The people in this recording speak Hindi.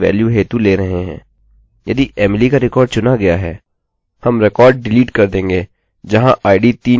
यदि emily का रिकार्ड चुना गया है हम रिकार्ड डिलीट कर देंगे जहाँ id 3 के बराबर है